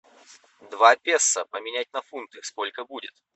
два песо поменять на фунты сколько будет